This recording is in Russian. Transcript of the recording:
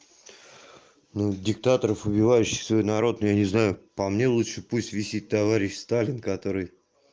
ну диктаторов убивающих свой народ я не знаю по мне лучше пусть висит товарищ сталин который